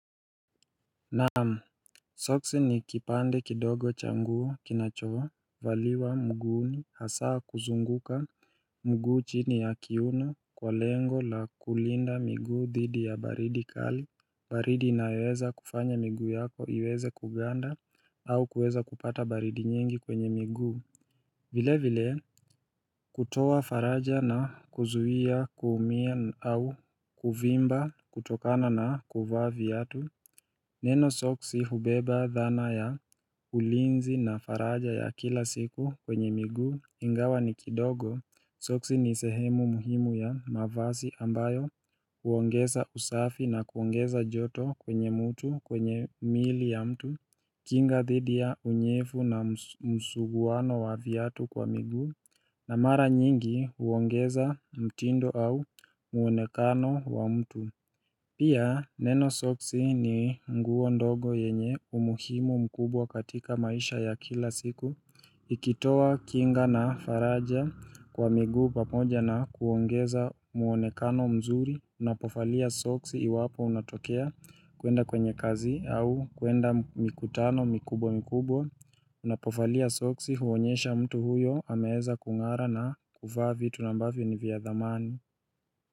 Naam, Soksi ni kipande kidogo changuo kinachovaliwa mguuni hasaa kuzunguka mguu chini ya kiuno kwa lengo la kulinda miguu dhidi ya baridi kali baridi inayoweza kufanya miguu yako iweze kuganda au kuweza kupata baridi nyingi kwenye miguu vile vile kutoa faraja na kuzuia kuumia au kuvimba kutokana na kuvaa viatu Neno Soksi hubeba dhana ya ulinzi na faraja ya kila siku kwenye migu ingawa ni kidogo Soksi ni sehemu muhimu ya mavasi ambayo uongeza usafi na kuongeza joto kwenye mutu kwenye miili ya mtu kinga dhidi ya unyefu na msuguwano wa vyatu kwa miguu na mara nyingi huongeza mtindo au muonekano wa mtu Pia neno soksi ni nguo ndogo yenye umuhimu mkubwa katika maisha ya kila siku Ikitowa kinga na faraja kwa miguu pamoja na kuongeza muonekano mzuri Unapofalia soksi iwapo unatokea kwenda kwenye kazi au kwenda mikutano mikubwa mikubwa Unapofalia soksi huonyesha mtu huyo ameeza kung'ara na kuvaa vitu ambavyo ni vya dhamani.